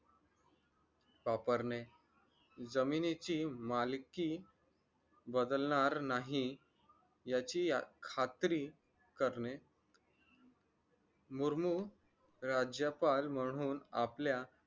वापरणे जमिनीची मालकी बदलणार नाही याची खात्री करणे मुर्मू राज्यपाल म्हणून आपल्या